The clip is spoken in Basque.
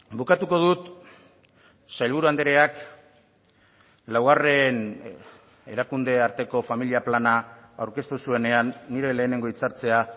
bukatuko dut sailburu andreak laugarren erakunde arteko familia plana aurkeztu zuenean nire lehenengo hitzartzea